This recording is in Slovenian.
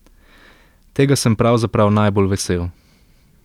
Tega sem pravzaprav najbolj vesel.